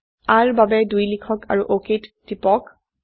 r ৰ বাবে ২ লিখক আৰু অক টিপক